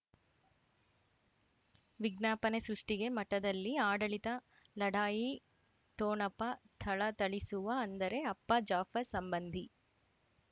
ವಿಜ್ಞಾಪನೆ ಸೃಷ್ಟಿಗೆ ಮಠದಲ್ಲಿ ಆಡಳಿತ ಲಢಾಯಿ ಠೊಣಪ ಥಳಥಳಿಸುವ ಅಂದರೆ ಅಪ್ಪ ಜಾಫರ್ ಸಂಬಂಧಿ